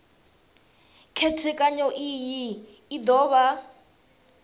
khethekanyo iyi u do vha